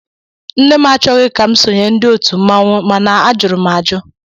Nne m achọghi ka m sonyé ndị òtù mmanwu mana a jụrụ m àjụ